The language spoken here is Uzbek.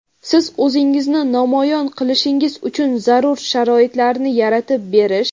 siz o‘zingizni namoyon qilishingiz uchun zarur sharoitlarni yaratib berish.